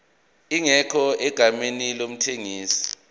ingekho egameni lomthengisi